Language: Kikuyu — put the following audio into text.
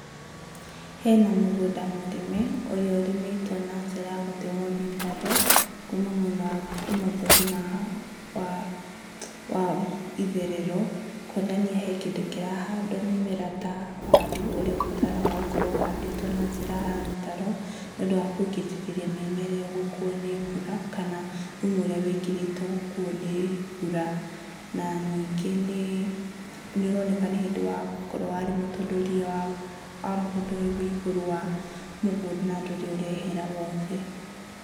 Hena mũgũnda mũrĩme, ũrĩa ũrĩmĩtwo na njĩra ya gũtemwo mĩtaro, kũũma mwena womotho nginya wa wa itherero, kuonania hena kĩndũ kĩrahandwo mĩmera ta waru, ũrĩa ũbataraga gũkorwo ũhandĩtwo na njĩra ya mĩtaro, nĩ ũndũ wa kũgirĩrĩria mĩmera ĩyo gũkuwo nĩ mbura, kana thumu ũrĩa wĩkĩrĩtwo gũkuwo nĩ mbura. Na ningĩ nĩ ũroneka nĩ hĩndĩ akorwo warĩmwo, tondũ ria wa mũgũnda ũyũ wĩigũrũ wa mũgũnda na ndũrĩ ũrehera wothe.